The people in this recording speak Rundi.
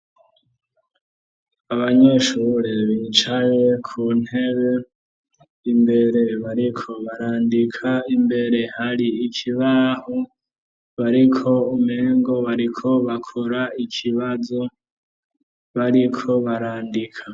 Abanyeshure bicaye ku ntebe imbere bariko barandika, imbere hari ikibaho bariko umengo bariko bakora ikibazo, bariko barandika.